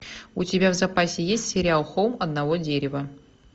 у тебя в запасе есть сериал холм одного дерева